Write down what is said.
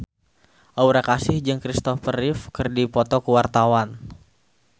Aura Kasih jeung Kristopher Reeve keur dipoto ku wartawan